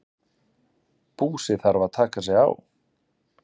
Búsi þarf að taka sig á.